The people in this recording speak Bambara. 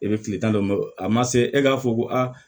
E bɛ tile tan dɔ bɔ a ma se e k'a fɔ ko aa